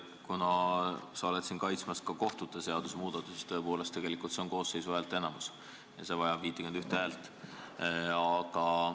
Kuna sa kaitsed siin praegu ka kohtute seaduse muutmist, siis tõepoolest vajab eelnõu koosseisu häälteenamust ehk vähemalt 51 poolthäält.